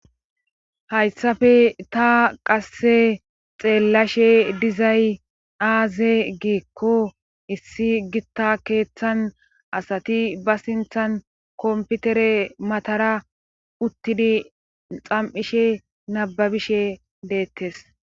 Hayssafe ta qasse xeellashe dizay aaze giikko issi gitta keeththan asati ba sinthan komputere matara uttidi xam7ishe nababishe deettes.